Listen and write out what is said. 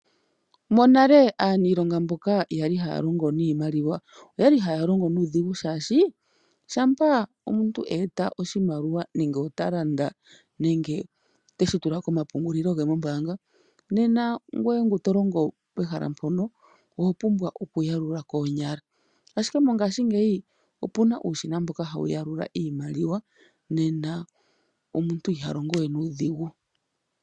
Monale aaniilonga mboka yali haya longo niimaliwa oyali haya longo nuudhigu oshoka shampa omuntu a eta oshimaliwa nenge talanda nenge teshi tula komapungulilo ge mombaanga, nena ngoye ngono tolongo pehala mpono oho pumbwa oku yalula koonyala, ashike mongaashingeyi opuna uushina mboka hawu yalula iimaliwa nena omuntu iha longo we nuudhigu.